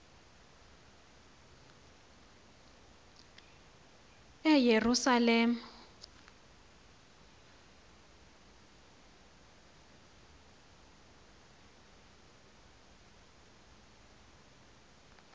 eyerusalem